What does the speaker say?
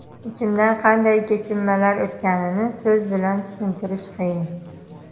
Ichimdan qanday kechinmalar o‘tganini so‘z bilan tushuntirish qiyin.